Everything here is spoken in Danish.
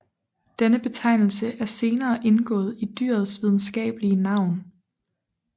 Denne betegnelse er senere indgået i dyrets videnskabelige navn